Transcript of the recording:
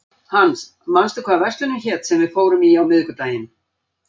Hans, manstu hvað verslunin hét sem við fórum í á miðvikudaginn?